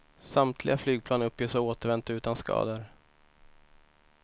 Samtliga flygplan uppges ha återvänt utan skador.